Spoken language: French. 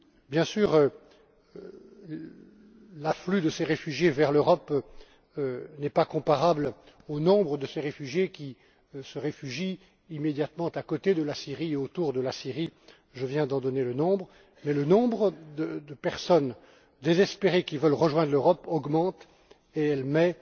Bien sûr, l'afflux de ces réfugiés vers l'Europe n'est pas comparable au nombre de ces réfugiés qui se réfugient immédiatement à côté de la Syrie et autour de la Syrie je viens d'en donner le nombre mais le nombre de personnes désespérées qui veulent rejoindre l'Europe augmente et met